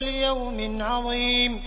لِيَوْمٍ عَظِيمٍ